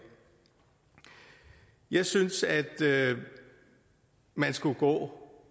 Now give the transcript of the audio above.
jeg synes at man skulle gå